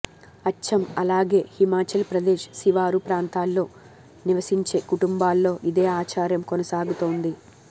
అచ్చం అలాగే హిమాచల్ ప్రదేశ్ శివారు ప్రాంతాల్లో నివసించే కుటుంబాల్లో ఇదే ఆచారం కొనసాగుతోంది